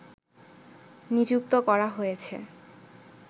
নিযুক্ত করা হয়েছে